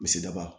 Misba